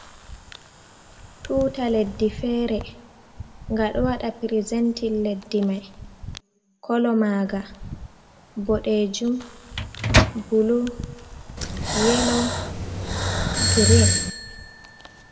Tuta leddi feere. Gaɗo waɗa prizentin leddi mai, kolo maaga boɗeejum, bulu, yelo, green.